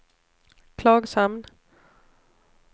Klagshamn